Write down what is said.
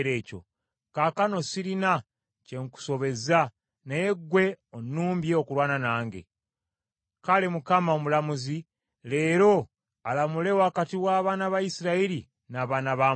Kaakano sirina kye nkusobezza naye ggwe onnumbye okulwana nange. Kale Mukama , Omulamuzi, leero alamule wakati w’abaana ba Isirayiri n’abaana ba Amoni.’ ”